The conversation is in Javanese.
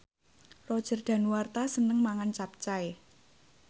Roger Danuarta seneng mangan capcay